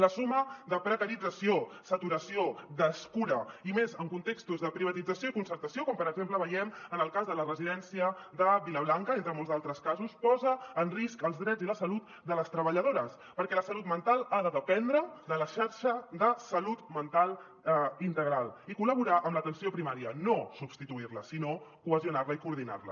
la suma de precarització saturació descura i més en contextos de privatització i concertació com per exemple veiem en el cas de la residència de villablanca entre molts altres casos posa en risc els drets i la salut de les treballadores perquè la salut mental ha de dependre de la xarxa de salut mental integral i col·laborar amb l’atenció primària no substituir la sinó cohesionar la i coordinar la